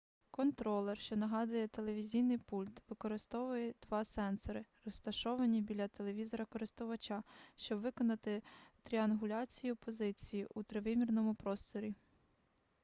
контролер що нагадує телевізійний пульт використовує два сенсори розташовані біля телевізора користувача щоб виконати тріангуляцію позиції у тривимірному просторі